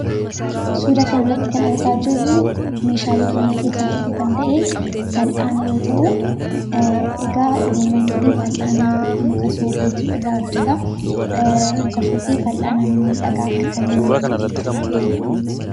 Suuraa kanarratti kan argaa jirru meeshaalee manaa keessaa tokko kan ta'e fal'aana yoo ta'u, egaa Oromoon durii fal'aana muka soofeetu irraa hojjetaa. Muka soofee fal'aana mimmiidhagaa akka kanaa in hojjeta jechuu dha.